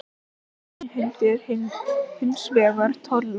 Ríkið innheimtir hins vegar tolla.